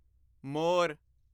ਮੋਰ